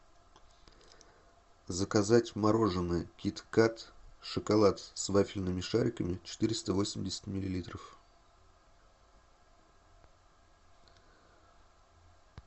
заказать мороженое киткат шоколад с вафельными шариками четыреста восемьдесят миллилитров